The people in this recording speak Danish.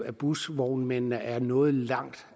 at busvognmændene er nået langt